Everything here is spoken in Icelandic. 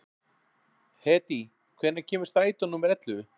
Hedí, hvenær kemur strætó númer ellefu?